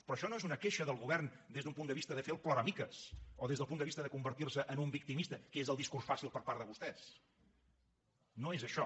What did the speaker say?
però això no és una queixa del govern des d’un punt de vista de fer el ploramiques o des del punt de vista de convertir se en un victimista que és el discurs fàcil per part de vostès no és això